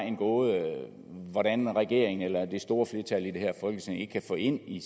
en gåde hvordan regeringen og det store flertal i det her folketing ikke kan få ind i